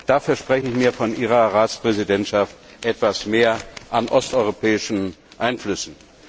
Da verspreche ich mir von Ihrer Ratspräsidentschaft etwas mehr an osteuropäischen Einflüssen.